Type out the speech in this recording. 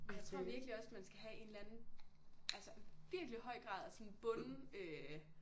Ej jeg tror vikelig også man skal have en eller anden altså virkelig høj grad af sådan bunden øh